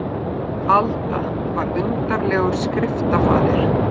Alda var undarlegur skriftafaðir.